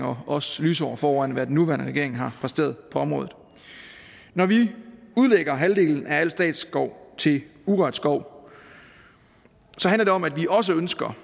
og også lysår foran hvad den nuværende regering har præsteret på området når vi udlægger halvdelen af al statsskov til urørt skov handler det om at vi også ønsker